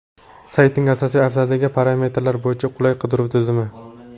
Saytning asosiy afzalligi parametrlar bo‘yicha qulay qidiruv tizimi.